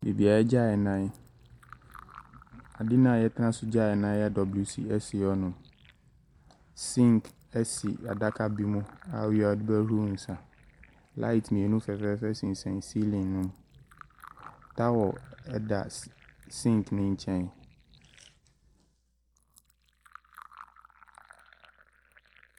Baabi a wɔgya wɔn nan. Adeɛ no a wɔtena so gya wɔn nan a ɛyɛ WC si hɔnom. Sink si adaka bi mu a wowie a wode bɛhohoro wo nsa. Light mmienu fɛfɛɛfɛ sensɛn ceiling no. Towel da s sink no nkyɛn.